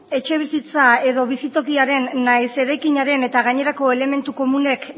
etxebizitza edo bizitokiaren nahiz eraikinaren eta gainerako elementu komunek